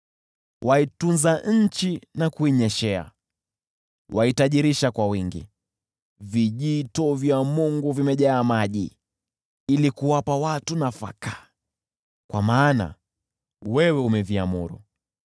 Waitunza nchi na kuinyeshea, waitajirisha kwa wingi. Vijito vya Mungu vimejaa maji ili kuwapa watu nafaka, kwa maana wewe umeviamuru.